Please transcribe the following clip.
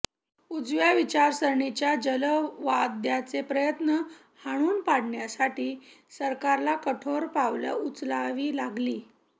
उजव्या विचारसरणीच्या जहालवाद्यांचे प्रयत्न हाणून पाडण्यासाठी सरकारला कठोर पावलं उचलावी लागली